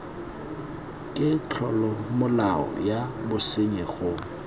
ke tlolomolao ya bosenyi go